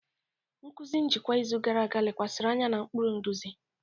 Nkụzi njikwa izu gara aga lekwasịrị anya na ụkpụrụ nduzi.